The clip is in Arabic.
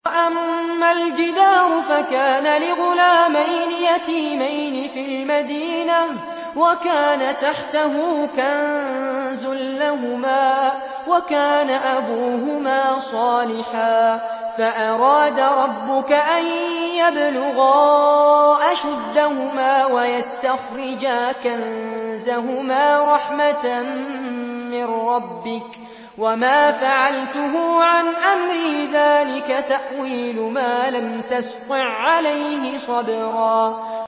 وَأَمَّا الْجِدَارُ فَكَانَ لِغُلَامَيْنِ يَتِيمَيْنِ فِي الْمَدِينَةِ وَكَانَ تَحْتَهُ كَنزٌ لَّهُمَا وَكَانَ أَبُوهُمَا صَالِحًا فَأَرَادَ رَبُّكَ أَن يَبْلُغَا أَشُدَّهُمَا وَيَسْتَخْرِجَا كَنزَهُمَا رَحْمَةً مِّن رَّبِّكَ ۚ وَمَا فَعَلْتُهُ عَنْ أَمْرِي ۚ ذَٰلِكَ تَأْوِيلُ مَا لَمْ تَسْطِع عَّلَيْهِ صَبْرًا